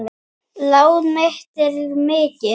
Lán mitt er mikið.